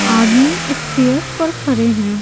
आदमी स्टेयर्स पर खड़े हैं।